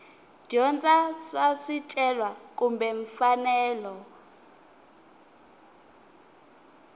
dyondza swa swicelwa kumbe mfanelo